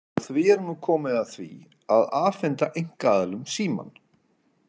Og því er nú komið að því að afhenda einkaaðilum Símann.